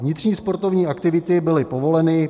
Vnitřní sportovní aktivity byly povoleny.